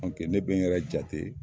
Ne be n yɛrɛ jate